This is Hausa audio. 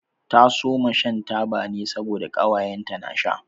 Ta soma shan taba ne saboda ƙawaye ta na sha.